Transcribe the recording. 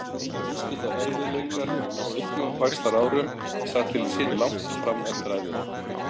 Eins geta erfiðleikar á uppvaxtarárum sagt til sín langt fram eftir ævinni.